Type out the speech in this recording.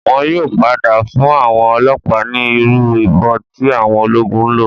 Wọn yóò padà fún àwọn ọlọ́ọ̀pá ní Irú ìbọn tí àwọn ológun ńlò.